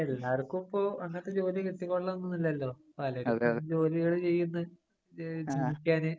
എല്ലാര്ക്കും ഇപ്പൊ അങ്ങനത്തെ ജോലി കിട്ടികൊള്ളണം ഒന്നുമില്ലല്ലോ. പലരും ജോലികള് ചെയ്യുന്നു.ജീവിക്കാന്.